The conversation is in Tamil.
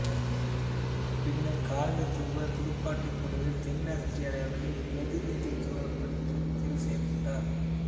பின்னர் காலனித்துவ துடுப்பாட்டப் போட்டிகளில் தென் ஆஸ்திரேலியாவை பிரதிநிதித்துவப்படுத்த தேர்வு செய்யப்பட்டார்